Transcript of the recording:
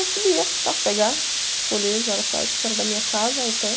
Eu subia para pegar colher os araçás, isso que era da minha casa, o pé.